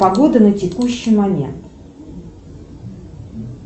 погода на текущий момент